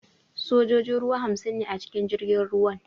Sojojin ruwa hamsin ne a cikin jirgin ruwan